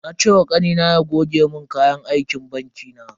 Na ce ma Kanina ya goge mun kayan aikin banki na.